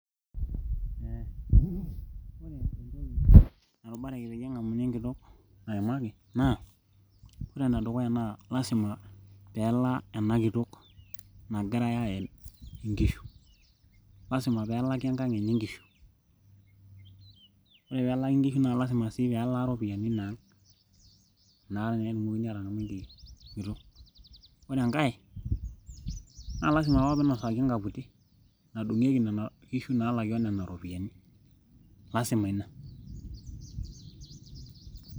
ore entoki narubareki peyie eng'amuni enkitok nayamaki naa ore enedukuya naa lasima pelaa enakitok nagirae ayam inkishu lasima peelaki enkang enye inkishu ore peelaki inkishu naa lasima sii pelaa iropiyiani inang inakata naa etumokini atang'amu enkitok ore enkae naa lasima apa piinosaki enkaputi nadung'ieki nana kishu naalaki onena ropiyiani lasima ina[paause].